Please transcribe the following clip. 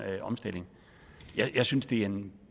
omstilling jeg synes det er en